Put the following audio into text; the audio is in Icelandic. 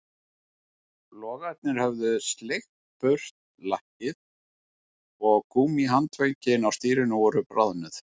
Logarnir höfðu sleikt burt lakkið og gúmmíhandföngin á stýrinu voru bráðnuð